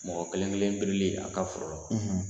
Mɔgɔ kelen kelen berilI a ka foro la